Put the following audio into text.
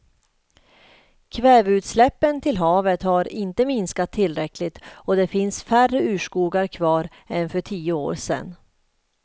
Kväveutsläppen till havet har inte minskat tillräckligt och det finns färre urskogar kvar än för tio år sedan.